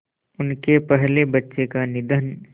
उनके पहले बच्चे का निधन